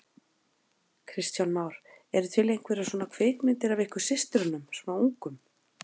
Kristján Már: Eru til einhverjar svona kvikmyndir af ykkur systrunum svona ungum?